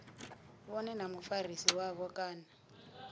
vhone na mufarisi wavho kana